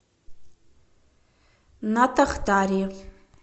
натахтари